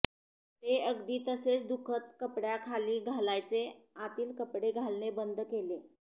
ते अगदी तसेच दुखत कपड्याखाली घालायचे आतील कपडे घालणे बंद केले